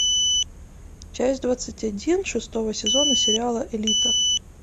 часть двадцать один шестого сезона сериала элита